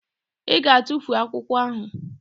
Ị ga-atufu akwụkwọ ahụ!